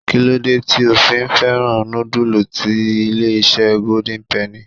Kí ló dé tí ò fi fẹ́ràn nudulu ti ilé-isé golden penny?